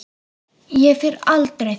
Ég fer aldrei þangað.